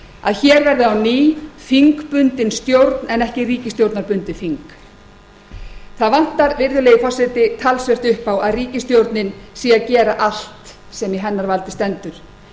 að hér verði á ný þingbundin stjórn en ekki ríkisstjórnarbundið þing það vantar virðulegi forseti talsvert upp á að ríkisstjórnin sé að gera allt sem í hennar valdi stendur